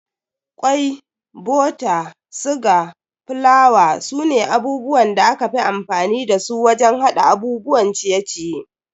Kwai, bota, siga, fulawa sune abubuwan da aka fi amfani dasu wajen hada abubuwan ciye-ciye.